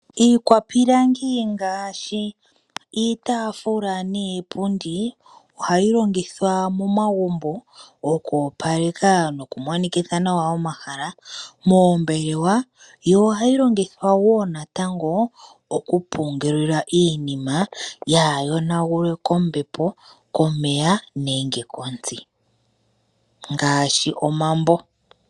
Iikwapilangi ngaashi iitafula niipundi ohayi longithwa momagumbo okoopaleka noku monikitha nawa omahala moombelewa. Ohayi longithwa natango okupungula iinima yaa yonagulwe kombepo, komeya nenge kontsi ngaashi omambo.